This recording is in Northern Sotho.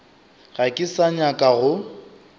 ga ke sa nyaka go